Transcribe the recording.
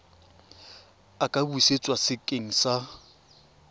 a ka busetswa sekeng sa